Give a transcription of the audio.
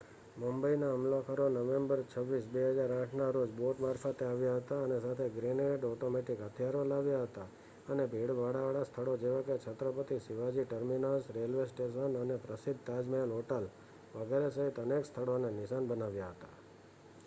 મુંબઈના હુમલાખોરો નવેમ્બર 26 2008ના રોજ બોટ મારફતે આવ્યા હતા અને સાથે ગ્રેનેડ ઓટોમેટિક હથિયારો લાવ્યા હતા અને ભીડભાડવાળા સ્થળો જેવાકે Chhatrapati Shivaji terminus railway station અને પ્રસિદ્ધ તાજમહેલ હોટલ વગેરે સહિત અનેક સ્થળોને નિશાન બનાવ્યા હતા